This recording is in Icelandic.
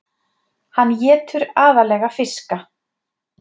hann étur aðallega fiska